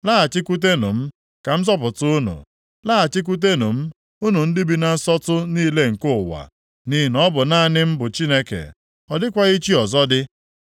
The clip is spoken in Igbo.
“Laghachikwutenụ m, ka m zọpụta unu. Laghachikwutenụ m, unu ndị bi na nsọtụ niile nke ụwa. Nʼihi na ọ bụ naanị m bụ Chineke, ọ dịkwaghị chi ọzọ dị.